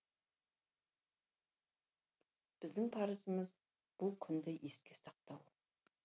біздің парызымыз бұл күнді еске сақтау